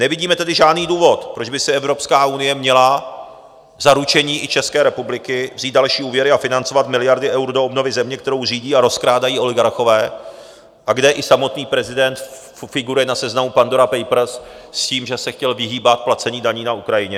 Nevidíme tedy žádný důvod, proč by si EU měla za ručení i České republiky vzít další úvěry a financovat miliardy eur do obnovy země, kterou řídí a rozkrádají oligarchové a kde i samotný prezident figuruje na seznamu Pandora Papers s tím, že se chtěl vyhýbat placení daní na Ukrajině.